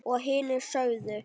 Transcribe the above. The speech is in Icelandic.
Og hinir sögðu